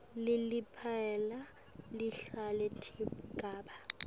leliphepha lehlukaniswe tigaba